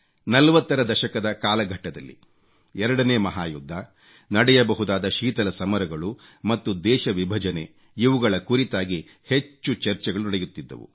40 ರ ದಶಕದ ಕಾಲಘಟ್ಟದಲ್ಲಿ 2 ನೇ ಮಹಾಯುದ್ಧ ನಡೆಯಬಹುದಾದ ಶೀತಲ ಸಮರಗಳು ಮತ್ತು ದೇಶ ವಿಭಜನೆ ಇವುಗಳ ಕುರಿತಾಗಿ ಹೆಚ್ಚು ಚರ್ಚೆಗಳು ನಡೆಯುತ್ತಿದ್ದವು